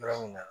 Yɔrɔ min na